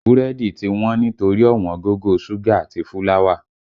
Búrẹ́dì tí wọ́n nítorí ọ̀wọ́ngógó ṣúgà àti fúláwà